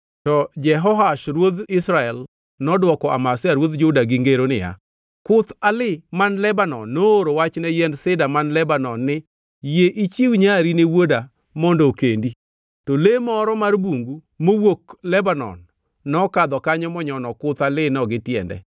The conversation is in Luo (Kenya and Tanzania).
To Jehoash ruodh Israel nodwoko Amazia ruodh Juda gi ngero niya, “Kuth alii man Lebanon nooro wach ne yiend sida man Lebanon ni, ‘Yie ichiw nyari ne wuoda mondo okendi.’ To le moro mar bungu mowuok Lebanon nokadho kanyo monyono kuth aliino gi tiende.